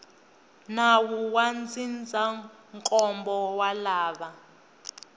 nawu wa ndzindzakhombo wa lava